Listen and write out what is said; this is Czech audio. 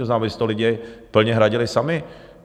To znamená, aby si to lidi plně hradili sami.